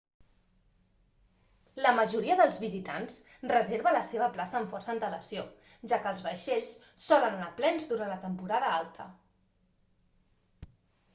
la majoria dels visitants reserva la seva plaça amb força antelació ja que els vaixells solen anar plens durant la temporada alta